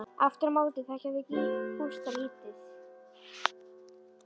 Aftur á móti þekkja þau Gústa lítið.